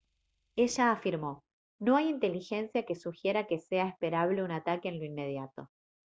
ella afirmó: «no hay inteligencia que sugiera que sea esperable un ataque en lo inmediato